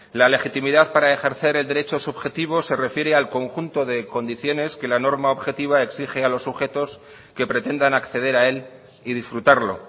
la legitimidad para ejercer el derecho subjetivo se refiere al conjunto de condiciones que la norma objetiva exige a los sujetos que pretendan acceder a él y disfrutarlo